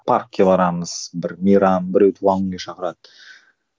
паркке барамыз бір мейрам біреу туған күнге шақырады